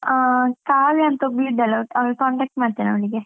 ಆ ಕಾವ್ಯ ಅಂತ ಒಬ್ಳಿದ್ದಾಳೆ, ಅವಳ್ ಅವುಳ್ contact ಮಾಡ್ತೀನಿ ಅವಳಿಗೆ.